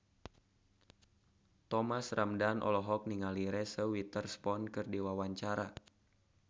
Thomas Ramdhan olohok ningali Reese Witherspoon keur diwawancara